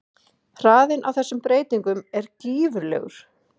Hraðinn á þessum breytingum er gífurlegur.